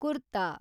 kurta